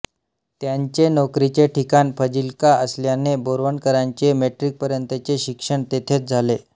त्यांचे नोकरीचे ठिकाण फजिल्का असल्याने बोरवणकरांचे मॅट्रिकपर्यंतचे शिक्षण तेथेच झाले